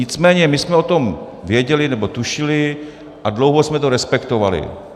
Nicméně my jsme o tom věděli, nebo tušili, a dlouho jsme to respektovali.